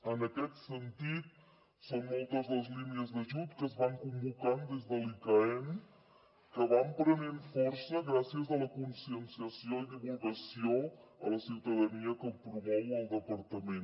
en aquest sentit són moltes les línies d’ajut que es van convocant des de l’icaen que van prenent força gràcies a la conscienciació i divulgació a la ciutadania que promou el departament